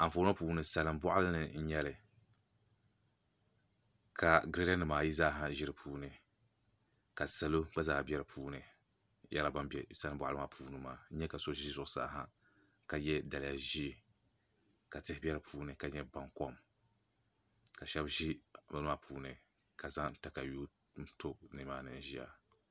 Anfooni ŋo puuni salin boɣali ni n nyɛli ka girɛda nimaa ayi zaa ʒi di puuni ka salo gba zaa bɛ di puuni n yɛrila ban bɛ salin boɣali maa puuni maa n nyɛ ka so ʒi zuɣusaa ha ka yɛ daliya ʒiɛ ka tihi bɛ di puuni ka nyɛ baŋ kom ka shab ʒi bin maa puuni ka zaŋ katawii ti bini maa puuni ʒiya